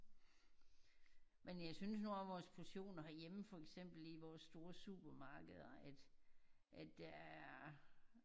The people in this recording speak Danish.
Men jeg synes nu også vores portioner herhjemme for eksempel i vores store supermarkeder at at der er